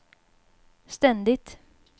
ständigt